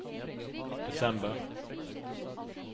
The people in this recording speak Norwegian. desember